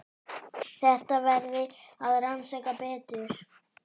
Þetta verði að rannsaka betur.